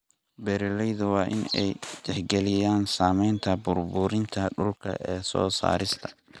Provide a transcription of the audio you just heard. Beeraleyda waa in ay tixgeliyaan saamaynta burburinta dhulka ee soo saarista.